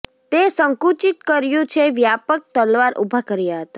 તે સંકુચિત કર્યું છે વ્યાપક તલવાર ઊભા કર્યા હતા